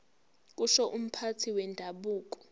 kusho umphathi wendabuko